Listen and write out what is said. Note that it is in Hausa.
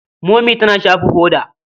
Momi tana shafa hoda.